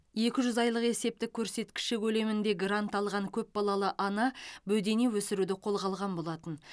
екі жүз айлық есептік көрсеткіші көлемінде грант алған көп балалы ана бөдене өсіруді қолға алған болатын